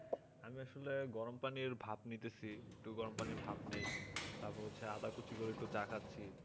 আমি আসলে গরম পানির ভাব নিতেছি একটু গরম পানির ভাব নেই তারপর একটু আদা কুচি করে একটু চা খাচ্ছি